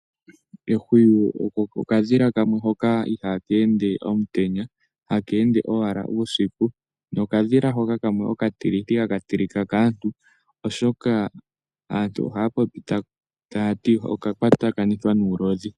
Ehwiyu okadhila hoka ihaa ka ende omutenya, haka ende owala uusiku. Okadhila hoka okatilithi, haka tilika kaantu, oshoka aantu ohaa popi taya ti oka kwatakanithwa nuulodhi.